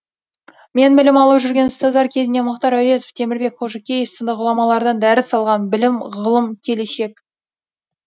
мен білім алып жүрген ұстаздар кезінде мұхтар әуезов темірбек қожекеев сынды ғұламалардан дәріс алған білім ғылым келешек